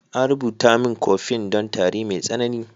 An rubuta min "coffin " don tari mai tsanani.